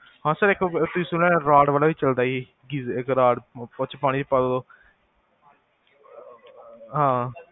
ਹਾਂ ਸਰ ਇਕ ਤੁਸੀਂ ਸੁਣਿਆ ਆ, ਰਾਡ ਵਾਲਾ ਵੀ ਚਲਦਾ ਈ, ਗਈ ਰੋ ਉੱਚ ਪਾਣੀ ਪਾ ਦੋ